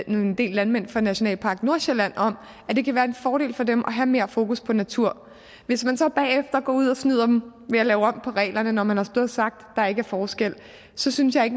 en del landmænd fra nationalparken i nordsjælland om at det kan være en fordel for dem at have mere fokus på natur hvis man så bagefter går ud og snyder dem ved at lave om på reglerne når man har stået og sagt at der ikke er forskel så synes jeg